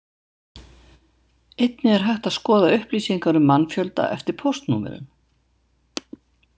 Einnig er hægt að skoða upplýsingar um mannfjölda eftir póstnúmerum.